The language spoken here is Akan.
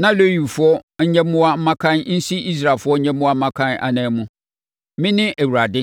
na Lewifoɔ nyɛmmoa mmakan nsi Israelfoɔ nyɛmmoa mmakan anan mu. Mene Awurade.”